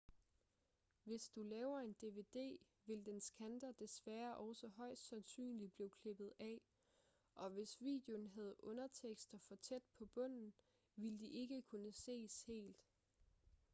hvis du laver en dvd vil dens kanter desværre også højst sandsynligt blive klippet af og hvis videoen havde undertekster for tæt på bunden ville de ikke kunne ses helt